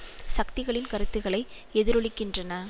சக்திகளின் கருத்துக்களை எதிரொலிக்கின்றன